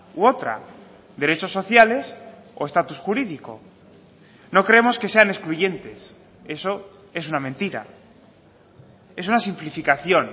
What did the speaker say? u otra derechos sociales o estatus jurídico no creemos que sean excluyentes eso es una mentira es una simplificación